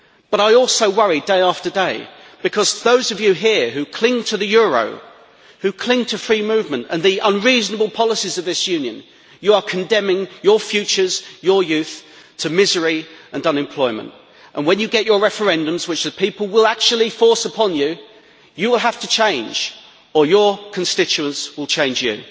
But I also worry day after day, because those of you here who cling to the euro, who cling to free movement and the unreasonable policies of this Union, you are condemning your futures, your youth, to misery and unemployment. And when you get your referendums, which the people will actually force upon you, you will have to change, or your constituents will change you.